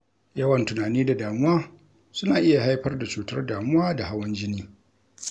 Yawan tunani da damuwa suna iya haifar da cutar damuwa da hawan jini